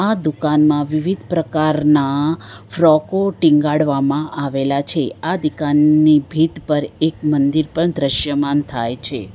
આ દુકાનમાં વિવિધ પ્રકારના ફ્રોકો ટીંગાડવામાં આવેલા છે આ દિકાનની ભીંત પર એક મંદિર પણ દ્રશ્યમાન થાય છે.